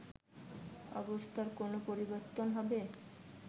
অবস্থার কোন পরিবর্তন হবে